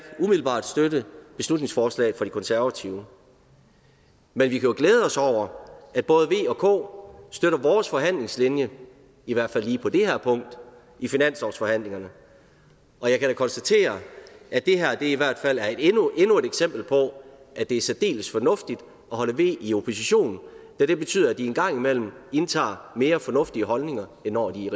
umiddelbart støtte beslutningsforslaget fra de konservative men vi kan jo glæde os over at både v og k støtter vores forhandlingslinje i hvert fald lige på det her punkt i finanslovsforhandlingerne og jeg kan da konstatere at det her i hvert fald er endnu et eksempel på at det er særdeles fornuftigt at holde v i opposition da det betyder at de en gang imellem indtager mere fornuftige holdninger end når de